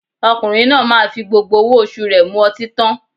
Ọkùnrin náà máa fi gbogbo owó oṣù rẹ̀ mu ọtín tán